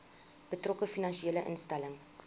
betrokke finansiële instelling